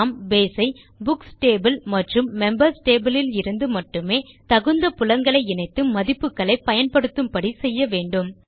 நாம் பேஸ் ஐ books table மற்றும் மெம்பர்ஸ் டேபிள் லிருந்து மட்டுமே தகுந்த புலங்களை இணைத்து மதிப்புகளை பயன்படுத்தும் படி செய்ய வேண்டும்